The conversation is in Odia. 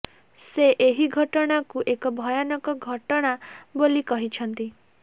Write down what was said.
ସେ ଏହି ଘଟଣାକୁ ଏକ ଭୟାନକ ଘଟଣା ବୋଲି କହିଛନ୍ତି